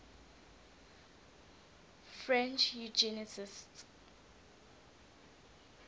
french eugenicists